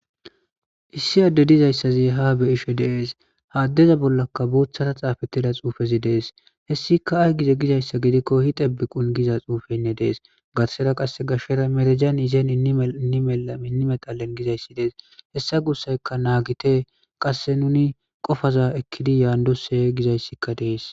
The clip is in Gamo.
Issi adde dizayssazi ha be'ishe dees ha addeza bollaka boththara xaafetida xuufezi dees hessika ay gize gizayssa gidiko yitebikun garsera qasse gashera merejawun yizen inmetalen gizayssi dees hessa gussayka naagite qasse nuni qofaza ekkidi yanddose gizayssika de'es.